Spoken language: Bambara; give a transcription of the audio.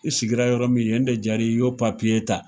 I sigira yɔrɔ min, yen de jar'i ye i y'o ta